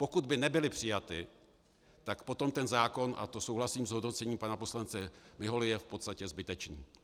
Pokud by nebyly přijaty, tak potom ten zákon, a to souhlasím s hodnocením pana poslance Miholy, je v podstatě zbytečný.